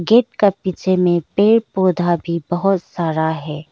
Paid का पीछे में पेड़ पौधा भी बहुत सारा है।